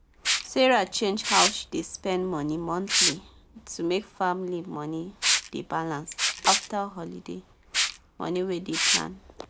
sarah change how she dey spend money monthly to make family money dey balance after holiday money wey dem plan